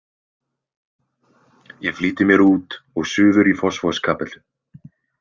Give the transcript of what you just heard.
Ég flýti mér út og suður í Fossvogskapellu.